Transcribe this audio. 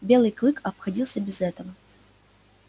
белый клык обходился без этого